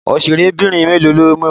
Òṣèrébìnrin mélòó lo mọ̀?